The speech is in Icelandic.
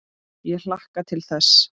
Ég hlakka til þess.